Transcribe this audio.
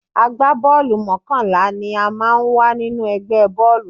Àgbábọ́ọ̀lù mọ́kànlá ni ó máa ń wà nínú ẹgbẹ́ bọ́ọ̀lù